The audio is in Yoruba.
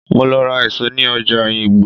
Mo lọ ra èso ní ọjà oyingbo.